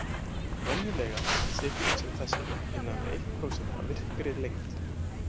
Venjulega er stytting sem þessi innan við eitt prósent af virkri lengd.